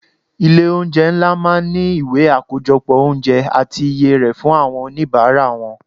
Ilé oúnjẹ ńlá máa ń ní ìwé akojopo oúnjẹ àti iye rè fún àwọn onibara wọn.